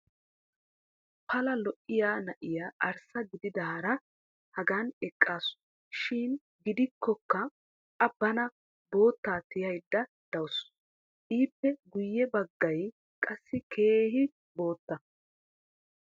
pala lo"iya na'iya arssa gididaara hagan eqaasu. shin gidikkokka a bana boottaa tiyaydda dawusu. ippe guyye baggay qassi keehi bootta.